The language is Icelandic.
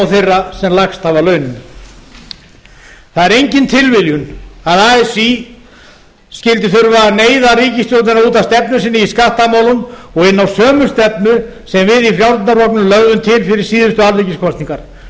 þeirra sem lægst hafa launin það er engin tilviljun að así skyldi þurfa að neyða ríkisstjórnina út af stefnu sinni í skattamálum og inn á sömu stefnu sem við í frjálslynda flokknum lögðum til fyrir síðustu alþingiskosningar